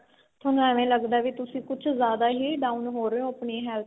ਤੁਹਾਨੂੰ ਐਵੇਂ ਲੱਗਦਾ ਵੀ ਤੁਸੀਂ ਕੁੱਝ ਜਿਆਦਾ ਹੀ down ਹੋ ਰਹੇ ਹੋ ਆਪਣੀ health